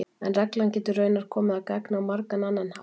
en reglan getur raunar komið að gagni á margan annan hátt